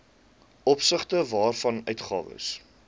opsigte waarvan uitgawes